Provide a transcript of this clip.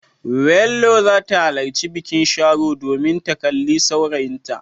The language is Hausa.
Welhore za ta halarci bikin Sharo domin ta kalli saurayinta.